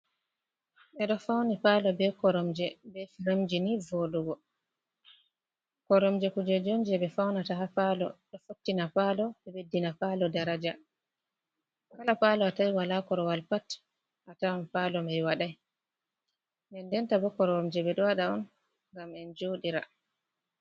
Eɗo fauni palo be koromje be firemji ni vodugo, koromje kujeji on je be faunata ha palo, ɗo fattina palo be ɓeddina palo daraja, kala palo a tawi wala korowal pat ha tawan palo mai wadai, den denta bo koromje ɓe ɗo waɗa on gam en joɗi ra.